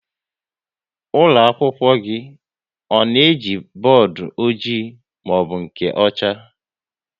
Ụlọakwụkwọ gị ọ na-eji bọọdụ ọjị maọbụ nke ọcha?